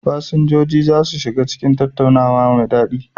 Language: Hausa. Fasinjoji za su shiga cikin tattaunawa mai daɗi.